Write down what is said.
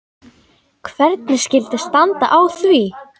Hvernig skyldi standa á því?